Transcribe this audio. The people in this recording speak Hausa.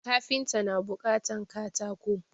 Kafinta na buƙatan katako